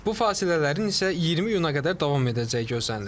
Bu fasilələrin isə 20 iyuna qədər davam edəcəyi gözlənilir.